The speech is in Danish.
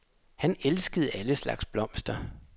Han elskede alle slags blomster.